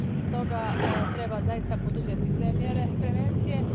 Stoga treba zaista poduzeti sve mjere prevencije.